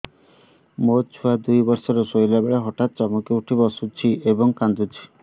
ମୋ ଛୁଆ ଦୁଇ ବର୍ଷର ଶୋଇଲା ବେଳେ ହଠାତ୍ ଚମକି ଉଠି ବସୁଛି ଏବଂ କାଂଦୁଛି